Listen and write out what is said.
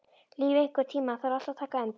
Líf, einhvern tímann þarf allt að taka enda.